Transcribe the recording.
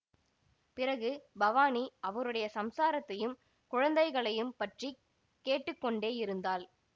பிறகு பவானி அவருடைய சம்சாரத்தையும் குழந்தைகளையும் பற்றி கேட்டு கொண்டே இருந்தாள்